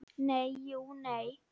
Nei, jú, nei.